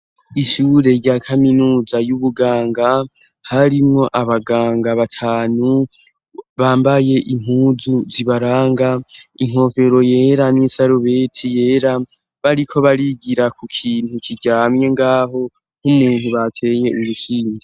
Ishure rya kaminuza y'ubuganga harimwo abaganga batanu bambaye impuzu zibaranga inkofero yera n'isarubeti yera bariko barigira ku kintu kiryamye ngaho nk'umuntu batenye urukimgi.